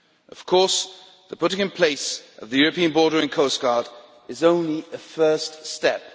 Of course the putting in place of the European Boarder and Coast Guard is only a first step.